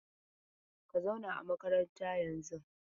Ka zauna a makaranta yanzun!